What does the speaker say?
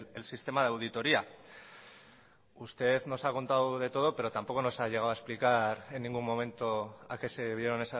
el sistema de auditoría usted nos ha contado de todo pero tampoco nos ha llegado a explicar en ningún momento a qué se debieron